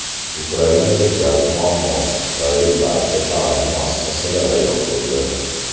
Ukrainada gaz muammosi tufayli barcha ta’lim muassasalari yopildi.